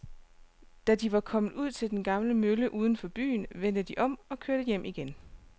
Da de var kommet ud til den gamle mølle uden for byen, vendte de om og kørte hjem igen.